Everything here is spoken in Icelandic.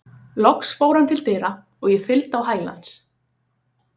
Loks fór hann til dyra og ég fylgdi á hæla hans.